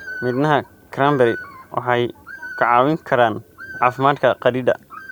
Midhaha cranberry waxay ka caawin karaan caafimaadka kaadida.